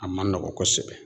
A man nɔgɔn kosɛbɛ